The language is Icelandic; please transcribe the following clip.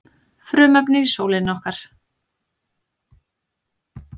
frumefnin í sólinni okkar